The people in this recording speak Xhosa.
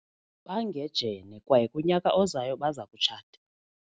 Bangejene kwaye kunyaka ozayo baza kutshata.